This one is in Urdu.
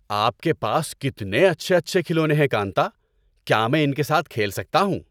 آپ کے پاس کتنے اچھے اچھے کھلونے ہیں، کانتا۔ کیا میں ان کے ساتھ کھیل سکتا ہوں؟